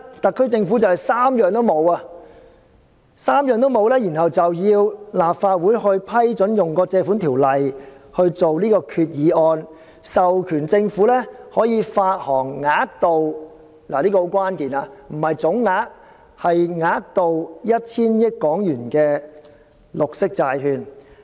特區政府現時完全不能滿足這3項條件，便要求立法會通過政府根據《借款條例》提出的擬議決議案，授權政府發行額度——這很關鍵，不是總額，而是額度——為 1,000 億港元的綠色債券。